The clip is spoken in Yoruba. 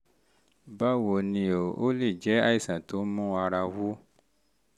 báwo ni o? ó lè jẹ́ àìsàn tó ń mú ara wú